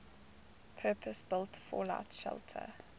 purpose built fallout shelter